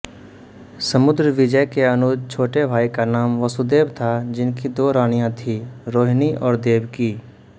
समुद्रविजय के अनुज छोटे भाई का नाम वसुदेव था जिनकी दो रानियाँ थींरोहिणी और देवकी